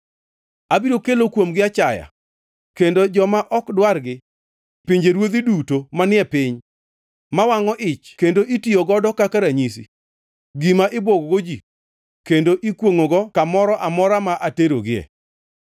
Abiro kelo kuomgi achaya kendo joma ok dwar gi pinjeruodhi duto manie piny, ma wangʼo ich kendo itiyo godo kaka ranyisi, gima ibwogogo ji kendo ikwongʼogo, ka moro amora ma aterogie.